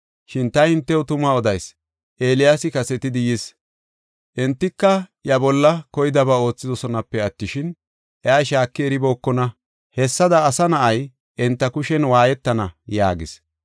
Shin ta hintew tuma odayis; Eeliyaasi kasetidi yis. Entika iya bolla koydaba oothidosonape attishin, iya shaaki eribookona. Hessada Asa Na7ay enta kushen waayetana” yaagis.